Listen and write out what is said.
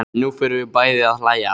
Nú förum við bæði að hlæja.